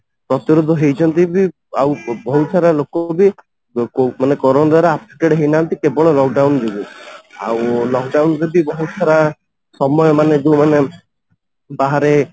ହେଇଛନ୍ତି ବି ଆଉ ବହୁତ ସାରା ଲୋକ ବି ଲୋକ ମାନେ କରୋନା ଦ୍ୱାରା affected ହେଇନାହାନ୍ତି କେବଳ lock down ଯୋଗୁ ଆଉ lock down ଯଦି ବହୁତ ସାରା ସମୟ ମାନେ ଯୋଉ ମାନେ ହାରେ